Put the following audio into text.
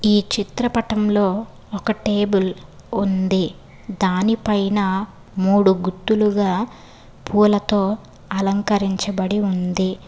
ఈ చిత్రపటంలో ఒక టేబుల్ ఉంది దానిపైన మూడు గుత్తులుగా పూలతో అలంకరించబడి ఉంది.